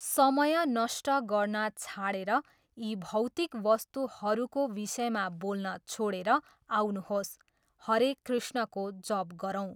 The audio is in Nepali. समय नष्ट गर्न छाडेर यी भौतिक वस्तुहरूको विषयमा बोल्न छोडेर, आउनुहोस्, हरे कृष्णको जप गरौँ।